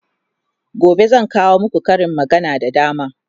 gobe zan kawo maku Karin magana da dama